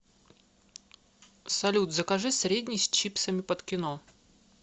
салют закажи средний с чипсами под кино